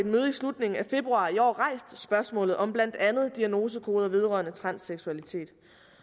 slutningen af februar i år rejst spørgsmålet om blandt andet diagnosekoder vedrørende transseksualitet